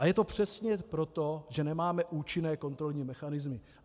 A je to přesně proto, že nemáme účinné kontrolní mechanismy.